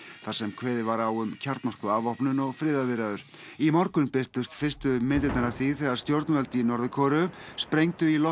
þar sem kveðið var á um kjarnorkuafvopnun og friðarviðræður í morgun birtust fyrstu myndirnar af því þegar stjórnvöld í Norður Kóreu sprengdu í loft